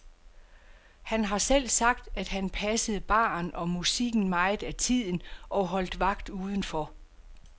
Han har selv sagt, at han passede baren og musikken meget af tiden og holdt vagt udenfor.